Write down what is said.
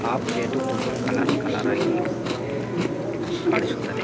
ಆ ಪ್ಲೇಟು ತುಂಬ colour colour ಆಗಿ ಕಾಣಿಸುತ್ತದೆ.